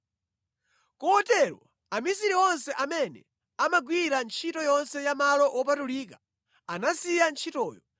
Kotero amisiri onse amene amagwira ntchito yonse ya malo wopatulika anasiya ntchitoyo